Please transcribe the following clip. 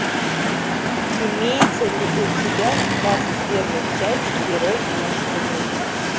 имеется ли у тебя двадцать первая часть герой нашего времени